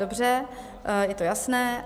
Dobře, je to jasné.